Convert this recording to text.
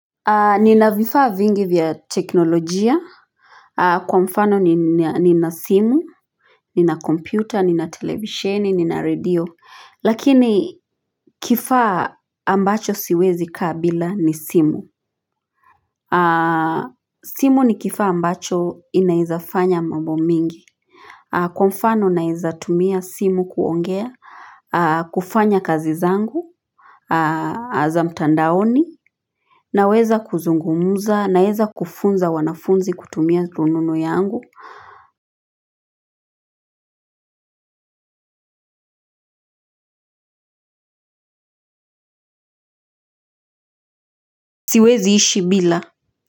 Nina vifaa vingi vya teknolojia. Kwa mfano nina simu. Nina kompyuta nina televisheni nina radio lakini kifaa ambacho siwezi kaa bila ni simu. Simu ni kifaa ambacho inaeza fanya mambo mingi. Kwa mfano naeza tumia simu kuongea. Kufanya kazi zangu za mtandaoni. Na weza kuzungumuza naweza kufunza wanafunzi kutumia rununu yangu. Siwezi ishi bila.